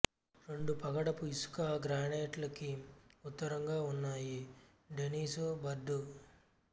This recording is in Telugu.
రెండు పగడపు ఇసుక గ్రానైట్లకి ఉత్తరంగా ఉన్నాయి డెనిసు బర్డు